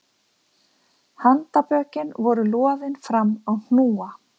Handarbökin voru loðin fram á hnúa